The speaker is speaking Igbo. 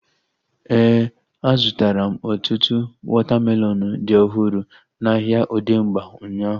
Éè, a zụtara m ọtụtụ wọta melọnu dị ọhụrụ n'ahia Odegba ụnyaahụ